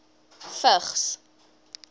vigs